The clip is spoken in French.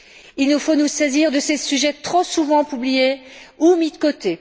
Il nous faut nous saisir de ces sujets trop souvent oubliés ou mis de côté.